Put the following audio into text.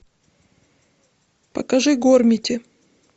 покажи гормити